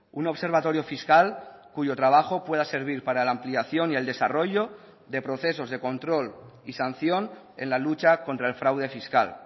un observatorio fiscal cuyo trabajo pueda servir para la ampliación y el desarrollo de procesos de control y sanción en la lucha contra el fraude fiscal